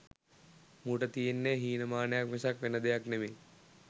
මූට තියෙන්නේ හීන මානයක් මිසක් වෙන දෙයක් නෙමෙයි.